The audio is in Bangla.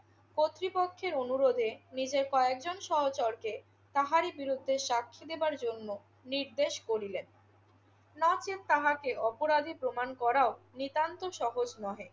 কর্তৃপক্ষের অনুরোধে নিজের কয়েকজন সহচরকে তাহারই বিরুদ্ধে সাক্ষী দেবার জন্য নির্দেশ করিলেন। নচেৎ তাহাকে অপরাধী প্রমাণ করাও নিতান্ত সহজ নহে।